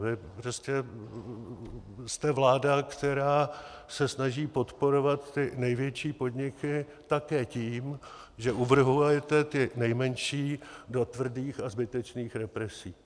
Vy jste prostě vláda, která se snaží podporovat ty největší podniky také tím, že uvrhujete ty nejmenší do tvrdých a zbytečných represí.